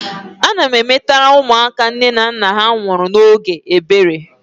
Ana emetere ụmụaka nne na nna ha nwụrụ n' ógè ebere.